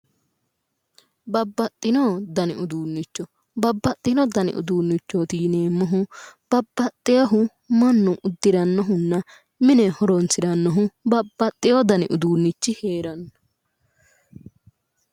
Babbaxxino dani uduunnicho babbaxxino dani uduunnichooti yineemmohu babbaxxeyohu mannu uddirannohunna mine horonsirannohu babbaxxeyo dani uduunnichi heeranno